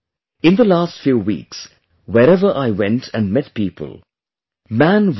In the last few weeks wherever I went and met people, 'Man vs